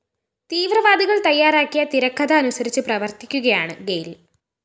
തീവ്രവാദികള്‍ തയ്യാറാക്കിയ തിരക്കഥ അനുസരിച്ച്‌ പ്രവര്‍ത്തിക്കുകയാണ്‌ ഗെയില്‍